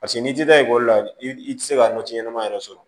Paseke n'i tɛ ekɔli la i tɛ se ka nati ɲɛnama yɛrɛ sɔrɔ